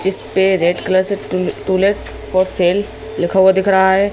जिस पे red colour से to to let for sale लिखा हुआ दिख रहा है।